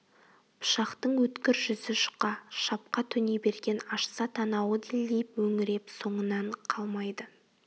пышақтың өткір жүзі жұқа шапқа төне берген ашса танауы делдиіп мөңіреп соңынан қалмайды